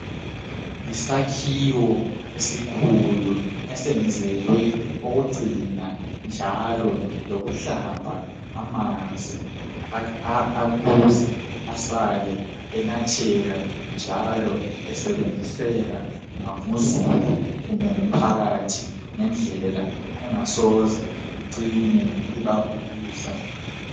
Yisakhiwo esikhulu esenzelwe ukugcina njalo lokuhlamba amanzi ukuze asale enatheka esebenziseka nguzulu kumbe ngumphakathi ngendlela engasoze icine ibagulisa.